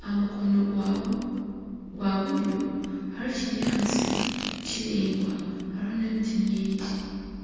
aha mukono gwa buryo hariho ekinyaatsi kiraingwa hariho n'emiti mingi.